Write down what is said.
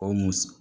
O musɔ